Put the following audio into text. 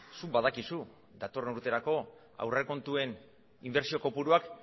zuk badakizu datorren urterako aurrekontuen inbertsio kopuruak